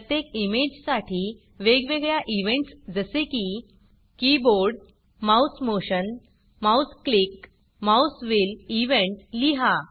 प्रत्येक इमेजसाठी वेगवेगळ्या इव्हेंटस जसे की keyboard mouse motion mouse click mouse wheel event लिहा